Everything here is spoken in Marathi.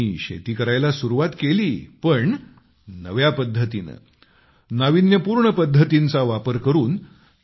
त्यांनी शेती करायला सुरुवात केली पण नव्या पद्धतीने नाविन्यपूर्ण पद्धतींचा वापर करून